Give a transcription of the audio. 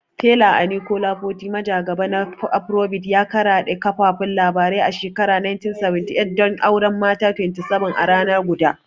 Fela Anikulapo Kuti, majagaba na Afrobeats, ya karaɗe kafafun labarai a shekarar 1978 don auren mata 27 a rana guda.